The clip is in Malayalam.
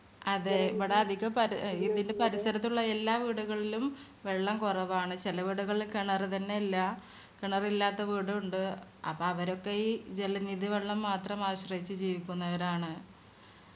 അതെ. ഇവിടെ അതികപരി- ഏർ ഇതിന്റെ പരിസരത്തുള്ള എല്ലാ വീടുകളിലും വെള്ളം കൊറവാണ്. ചെല വീടുകളില് കിണർ തന്നെ ഇല്ല. കണാറില്ലാത്ത വീടു ഇണ്ട്. അപ്പൊ അവരൊക്കെ ഈ ജലനിധി വെള്ളം മാത്രം ആശ്രയിച് ജീവിക്കുന്നവരാണ്.